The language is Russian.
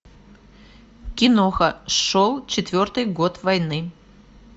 киноха шел четвертый год войны